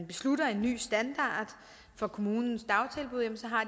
beslutter en ny standard for kommunens dagtilbud så har